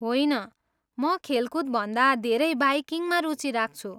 होइन, म खेलकुदभन्दा धेरै बाइकिङमा रुचि राख्छु।